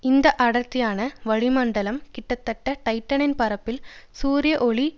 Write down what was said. இந்த அடர்த்தியான வளிமண்டலம் கிட்டத்தட்ட டைடானின் பரப்பில் சூரிய ஒளி